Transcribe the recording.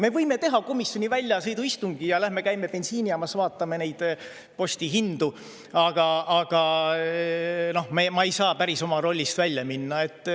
Me võime teha komisjoni väljasõiduistungi ja lähme käime bensiinijaamas, vaatame neid postihindu, aga noh, ma ei saa päris oma rollist välja minna.